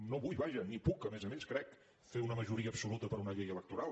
no vull vaja ni puc a més a més crec fer una majoria absoluta per una llei electoral